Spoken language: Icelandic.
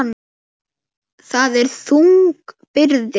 Það er þung byrði.